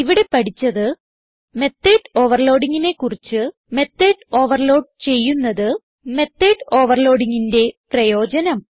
ഇവിടെ പഠിച്ചത് മെത്തോട് overloadingനെ കുറിച്ച് മെത്തോട് ഓവർലോഡ് ചെയ്യുന്നത് മെത്തോട് overloadingന്റെ പ്രയോജനം